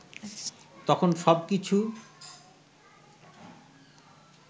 তখন সবকিছু